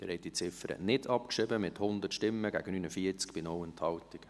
Sie haben diese Ziffer nicht abgeschrieben, mit 100 gegen 49 Stimmen bei 0 Enthaltungen.